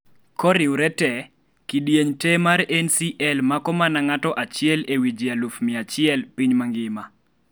koriwre tee, kidieng' tee mar NCL mako mana ng'ato achiel ee wi jii aluf mia achiel piny ma ngima